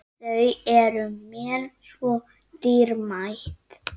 Þau eru mér svo dýrmæt.